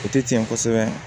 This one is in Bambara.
O tɛ tiɲɛ kosɛbɛ